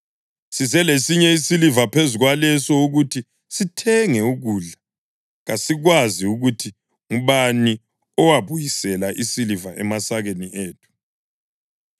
Size lesinye isiliva phezu kwaleso ukuthi sithenge ukudla. Kasikwazi ukuthi ngubani owabuyisela isiliva emasakeni ethu.”